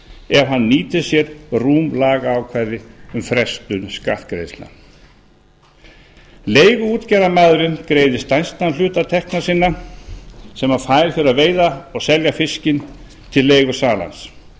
ef hann nýtir sér rúm lagaákvæði um frestun skattgreiðslna leiguútgerðarmaðurinn greiðir stærstan hluta tekna sinna sem hann fær fyrir að veiða og selja fiskinn til leigusalans hann